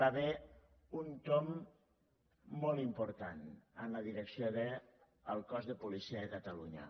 va haver hi un tomb molt important en la direcció del cos de policia de catalunya